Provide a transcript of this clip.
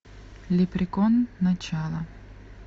лепрекон начало